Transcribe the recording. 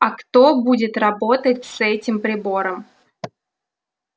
а кто будет работать с этим прибором